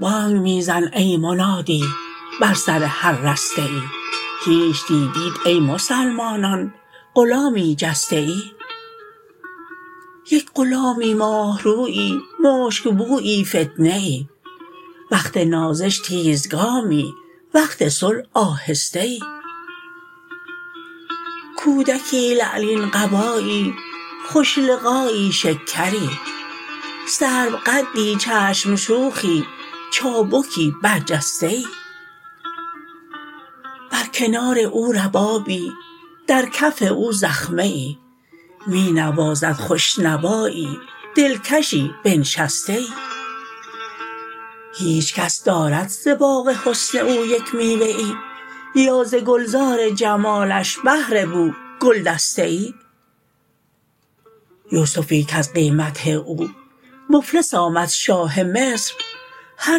بانگ می زن ای منادی بر سر هر دسته ای هیچ دیدیت ای مسلمانان غلامی جسته ای یک غلامی ماه رویی مشک بویی فتنه ای وقت نازش تیزگامی وقت صلح آهسته ای کودکی لعلین قبایی خوش لقایی شکری سروقدی چشم شوخی چابکی برجسته ای بر کنار او ربابی در کف او زخمه ای می نوازد خوش نوایی دلکشی بنشسته ای هیچ کس دارد ز باغ حسن او یک میوه ای یا ز گلزار جمالش بهر بو گلدسته ای یوسفی کز قیمت او مفلس آمد شاه مصر هر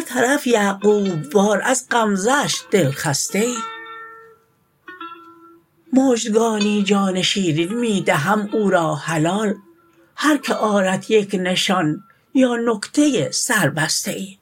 طرف یعقوب وار از غمزه اش دلخسته ای مژدگانی جان شیرین می دهم او را حلال هر کی آرد یک نشان یا نکته ای سربسته ای